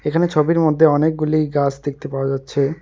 এখানে ছবির মধ্যে অনেকগুলি গাছ দেখতে পাওয়া যাচ্ছে।